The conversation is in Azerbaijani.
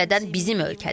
O cümlədən bizim ölkədir.